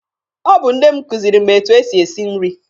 Ọ bụ nne m kuziri m etu e si esi nri.